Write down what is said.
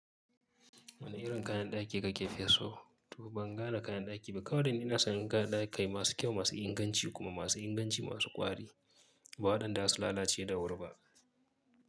Wane irin kayan ɗaki kakefi so? To ban gane kayan ɗaki ba kawai dai inason inga kayan ɗaki masu kyau, masu inganci kuma masu inganci masu ƙwari ba waɗanda za su lalace da wuri ba.